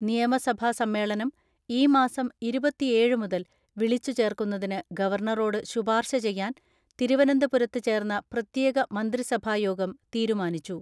നിയമസഭാ സമ്മേളനം ഈ മാസം ഇരുപത്തിഏഴ് മുതൽ വിളിച്ചുചേർക്കുന്നതിന് ഗവർണറോട് ശുപാർശ ചെയ്യാൻ തിരുവനന്തപുരത്ത് ചേർന്ന പ്രത്യേക മന്ത്രിസഭായോഗം തീരുമാനിച്ചു.